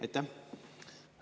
Aitäh!